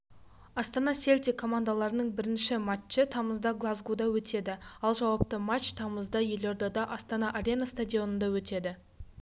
астана селтик командаларының бірінші матчы тамызда глазгода өтеді ал жауапты матч тамызда елордада астана-арена стадионында өтеді